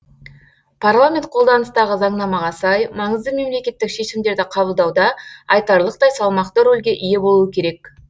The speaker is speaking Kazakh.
парламент қолданыстағы заңнамаға сай маңызды мемлекеттік шешімдерді қабылдауда айтарлықтай салмақты рөлге ие болуы керек